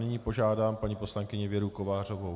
Nyní požádám paní poslankyni Věru Kovářovou.